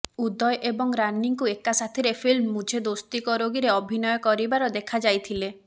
ଉଦୟ ଏବଂ ରାନୀଙ୍କୁ ଏକା ସାଥିରେ ଫିଲ୍ମ ମୁଝେ ଦୋସ୍ତି କରୋଗିରେ ଅଭିନୟ କରିବାର ଦେଖାଯାଇଥିଲେ